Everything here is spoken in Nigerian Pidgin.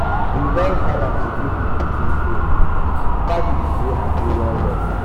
we don gather to give di pikin di name family dey happy well well.